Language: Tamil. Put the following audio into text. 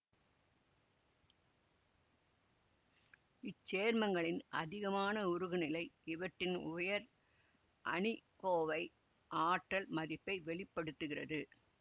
இச்சேர்மங்களின் அதிகமான உருகுநிலை இவற்றின் உயர் அணிக்கோவை ஆற்றல் மதிப்பை வெளி படுத்துகிறது